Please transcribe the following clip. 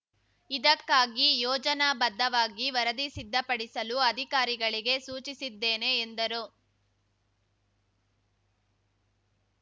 ಇದಕ್ಕಾಗಿ ಯೋಜನಾ ಬದ್ಧವಾಗಿ ವರದಿ ಸಿದ್ಧಪಡಿಸಲು ಅಧಿಕಾರಿಗಳಿಗೆ ಸೂಚಿಸಿದ್ದೇನೆ ಎಂದರು